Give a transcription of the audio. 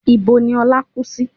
Ibo ni Ọlá kú sí?